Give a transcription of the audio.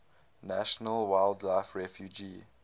national wildlife refuge